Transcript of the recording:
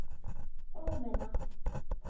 Og vinna.